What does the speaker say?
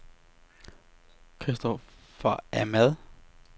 Kristoffer Ahmad